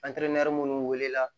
minnu wulila